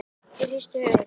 Ég hristi höfuðið.